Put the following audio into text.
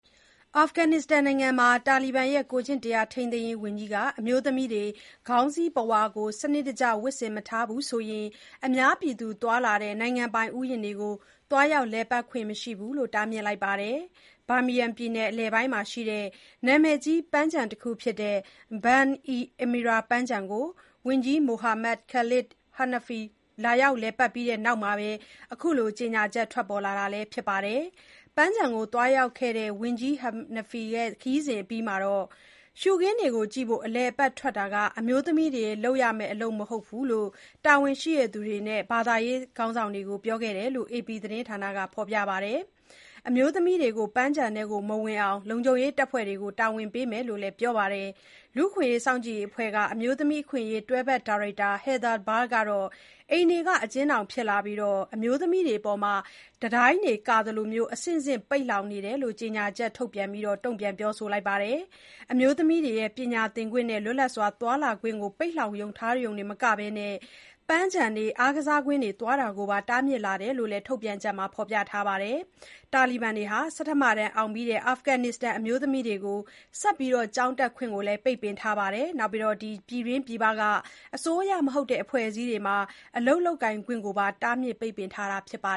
အာဖဂန်နစ္စတန် နိုင်ငံမှာ တာလီဘန်ရဲ့ ကိုယ်ကျင့်တရားထိန်းသိမ်းရေး ဝန်ကြီးက အမျိုးသမီးတွေ ခေါင်းစည်းပုဝါကို စနစ်တကျ ဝတ်ဆင်မထားဘူးဆိုရင် အများပြည်သူသွားလာတဲ့ နိုင်ငံပိုင်ဥယျာဉ်တွေကို သွားရောက် လည်ပတ်ခွင့်မရှိဘူးလို့ တားမြစ်လိုက်ပါတယ်။ Bamiyan ပြည်နယ်အလယ်ပိုင်းရှိ နာမည်ကြီးပန်းခြံတခုဖြစ်တဲ့ Band-e-Amir ပန်းခြံကို ဝန်ကြီး Mohammad Khalid Hanafi လာရောက်လည်ပတ်ပြီးနောက် အခုလို ကြေညာချက် ထွက်ပေါ်လာတာ လည်းဖြစ်ပါတယ်။ “ရှုခင်းတွေကြည့်ဖို့ အလည်အပတ်ထွက်တာ အမျိုးသမီးတွေ လုပ်ရမယ့် အလုပ်မဟုတ်ဘူး” လို့ ပန်းခြံကို သွားရောက်ခဲ့တဲ့ ဝန်ကြီး Hanifi ရဲ့ ခရီးစဉ်အပြီးမှာတာဝန်ရှိသူတွေနဲ့ ဘာသာရေးဆရာတွေကို ပြောခဲ့တယ်လို့ အေပီသတင်းဌာနက ဖော်ပြထားပါတယ်။ အမျိုးသမီးတွေကိုပန်းခြံထဲ မဝင်နိုင်အောင် လုံခြုံရေးတပ်ဖွဲ့တွေကို တာဝန်ပေးမယ်လို့လည်း ပြောပါတယ်။ လူ့အခွင့်အရေး စောင့်ကြည့်ရေးအဖွဲ့က အမျိုးသမီးအခွင့်အရေး တွဲဖက် ဒါရိုက်တာ Heather Barr ကတော့ အိမ်တွေက အကျဉ်းထောင်ဖြစ်လာပြီး၊ အမျိုးသမီးတွေအပေါ် တံတိုင်းတွေကာသလို အဆင့်ဆင့် ပိတ်လှောင်နေတယ် လို့ ကြေညာချက် ထုတ်ပြန်ပြောဆိုလိုက်ပါတယ်။ အမျိုးသမီးတွေရဲ့ ပညာသင်ခွင့်နဲ့ လွတ်လပ်စွာ သွားလာခွင့်ကို ပိတ်လှောင်ထားရုံသာမက၊ ပန်းခြံတွေ အားကစားကွင်းတွေသွားတာကိုပါ တားမြစ်လာတယ်လို့လည်း ထုတ်ပြန်ချက်မှာဖော်ပြထားပါတယ်။ တာလီဘန်တွေဟာ ဆဋ္ဌမတန်းအောင်ပြီးတဲ့ အာဖဂန်နစ္စတန် အမျိုးသမီးတွေကို ဆက်လက် ကျောင်းတက်ခွင့် ပိတ်ပင်ထားသလို၊ ပြည်တွင်းပြည်ပက အစိုးရမဟုတ်တဲ့ အဖွဲ့အစည်းတွေမှာ အလုပ်လုပ်ကိုင်ခွင့်ကိုပါ ပိတ်ပင်ထားတာပါ